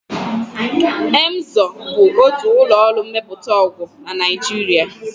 Emzor bụ otu ụlọọrụ mmepụta ọgwụ na Naịjiria